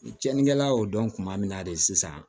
Cɛnnikɛla y'o dɔn kuma min na de sisan